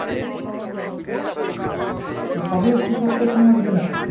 তো সবি short question আসবে না?